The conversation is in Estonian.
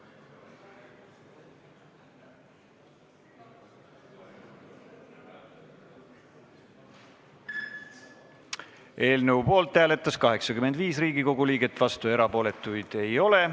Hääletustulemused Eelnõu poolt hääletas 85 Riigikogu liiget, vastuolijaid ega erapooletuid ei ole.